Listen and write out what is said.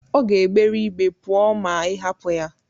Ọ ga-egbere ígbé pụọ ma ị hapụ ya.